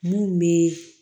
Mun be